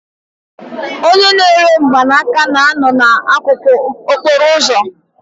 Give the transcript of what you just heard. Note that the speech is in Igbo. Onye na-ere mgbanaka na-anọ n'akụkụ okporo ụzọ